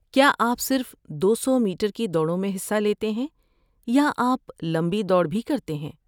کیا آپ صرف دو سو میٹر کی دوڑوں میں حصہ لیتے ہیں یا آپ لمبی دوڑ بھی کرتے ہیں؟